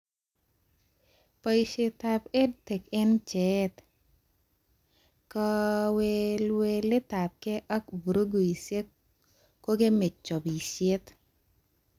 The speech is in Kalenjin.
Boishetab EdTech eng bjeet, kaweweletabke ak vuruguishek kokeme chobishet